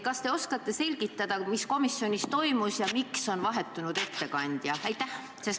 Kas te oskate selgitada, mis komisjonis toimus ja miks on vahetunud ettekandja?